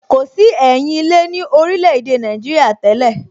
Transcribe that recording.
Kò sí ẹyin ilé ní orílè èdè Nàìjíríà tẹ́lẹ̀